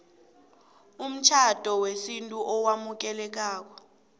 umtjhado wesintu owamukelekako